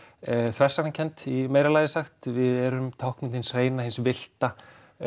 þversagnakennd í meira lagi sagt við erum táknmynd hins hreina hins villta